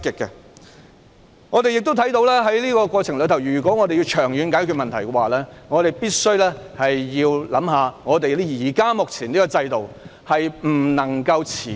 在這個過程中，我們看到要長遠解決問題，便必須先考慮目前這個制度，因為這制度不能夠持久。